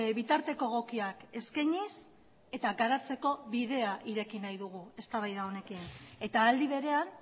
bitarteko egokiak eskainiz eta garatzeko bidea ireki nahi dugu eztabaida honekin eta aldi berean